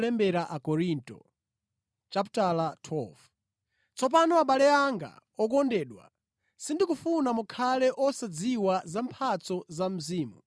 Tsopano abale anga okondedwa, sindikufuna mukhale osadziwa za mphatso za Mzimu.